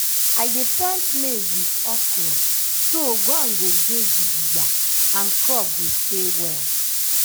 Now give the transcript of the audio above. i dey plant maize with okra so ground go dey gidigba and crop go stay well.